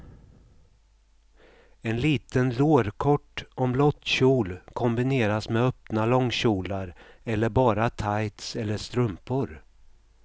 En liten lårkort omlottkjol kombineras med öppna långkjolar eller bara tights eller strumpor.